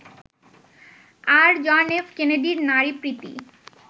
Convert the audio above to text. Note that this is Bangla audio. আর, জনএফ কেনেডির নারীপ্রীতি